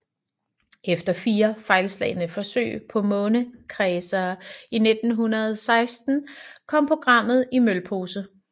Efter fire fejlslagne forsøg på månekredsere i 1960 kom programmet i mølpose